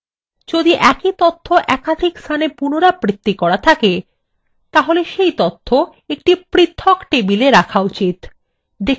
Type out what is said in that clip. যদি একই তথ্য একাধিক স্থানে পুনরাবৃত্তি করা থাকে তাহলে সেই তথ্য একটি পৃথক table রাখা উচিত